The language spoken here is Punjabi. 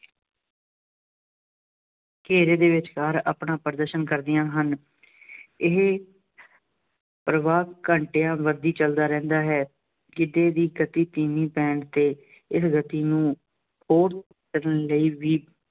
ਘੇਰੇ ਦੇ ਵਿਚਕਾਰ ਆਪਣਾ ਪ੍ਰਦਰਸ਼ਨ ਕਰਦੀਆਂ ਹਨ। ਇਹ ਪ੍ਰਵਾਹ ਘੰਟਿਆਂ ਬੱਧੀ ਚੱਲਦਾ ਰਹਿੰਦਾ ਹੈ। ਕਿਸੇ ਦੀ ਗਤੀ ਧੀਮੀ ਪੈਣ ਤੇ ਇਸ ਗਤੀ ਨੂੰ ਉਸ ਯਤਨ ਲਈ ਵੀ